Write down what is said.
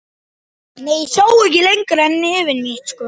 Sá ekki lengra nefi sínu.